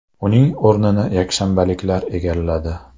Uning o‘rnini yakshanbaliklar egalladi.